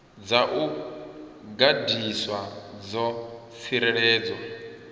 dza u gandiswa dzo tsireledzwa